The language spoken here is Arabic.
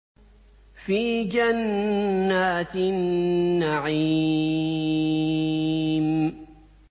فِي جَنَّاتِ النَّعِيمِ